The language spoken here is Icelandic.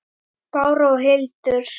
Bára og Hildur.